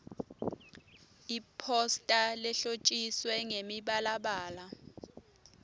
iphosta lehlotjiswe ngemibalabala